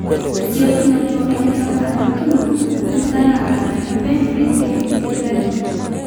esiokinoto enkitanaata orkina wenkitanaata aaninye openy metii inkulie daiki